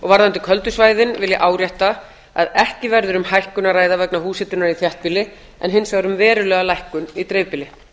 varðandi köldu svæðin vil ég árétta að ekki verður um hækkun að ræða vegna húshitunar í þéttbýli en hins vegar um verulega lækkun í dreifbýli